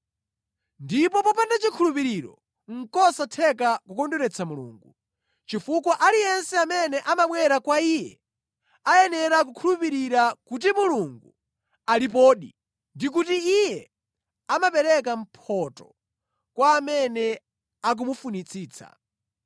Ndipo popanda chikhulupiriro nʼkosatheka kukondweretsa Mulungu, chifukwa aliyense amene amabwera kwa Iye ayenera kukhulupirira kuti Mulungu alipodi ndi kuti Iye amapereka mphotho kwa amene akumufunitsitsa.